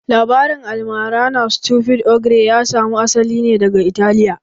Labarin almara na stupid ogre ya samu asali ne daga Italiya